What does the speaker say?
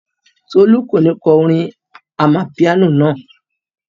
Tolú kò ní kọ orin amapiano náà.